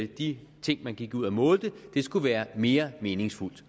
de ting man gik ud og målte skulle være mere meningsfulde